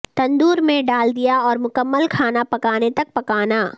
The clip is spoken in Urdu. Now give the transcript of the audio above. تندور میں ڈال دیا اور مکمل کھانا پکانے تک پکانا